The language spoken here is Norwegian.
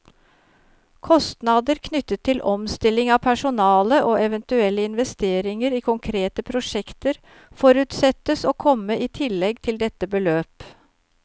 Kostnader knyttet til omstilling av personale, og eventuelle investeringer i konkrete prosjekter, forutsettes å komme i tillegg til dette beløp.